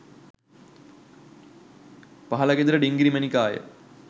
පහළ ගෙදර ඩිංගිරි මැණිකාය.